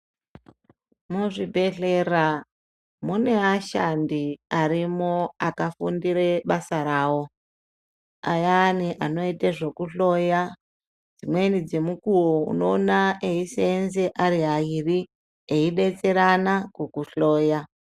Muzvibhehlera mune ashandi arimo akafundire basa rawo. Ayani anoite zvekuhloya dzimweni dzemukuwo unoona eiseenze ari airi eidetserana kukuhloya.